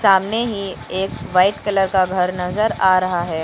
सामने ही एक वाइट कलर का घर नजर आ रहा है।